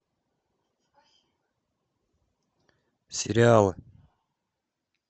сериалы